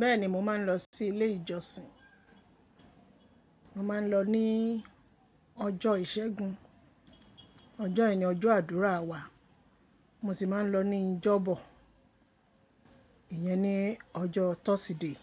Bẹ́ẹ̀ni mo máa ń lọ sí ilé ìjọsìn. Mo máa ń lọ ní ọjọ́ ìṣẹ́gun, ọjọ́ yi ni ọjọ́ àdúrà wa. Mo sì máa ń lọ ní ìjọ́bọ̀, ìyẹn ni ọjọ́ Thursday.